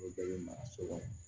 O bɛɛ bɛ mara so kɔnɔ